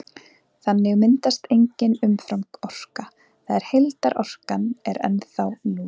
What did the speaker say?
Þannig myndast engin umframorka, það er heildarorkan er ennþá núll.